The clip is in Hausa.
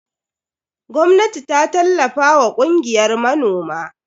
Gwamnati ta tallafa wa kungiyar manoman.